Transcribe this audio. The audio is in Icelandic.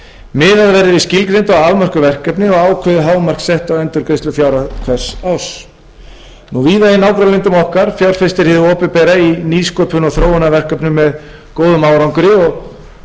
við skilgreind og afmörkuð verkefni og ákveðið hámark sett á endurgreiðslufjárhæð hvers árs víða í nágrannalöndum okkar fjárfestir hið opinbera í nýsköpun og þróunarverkefnum með góðum árangri og eins og ég kom inn á áðan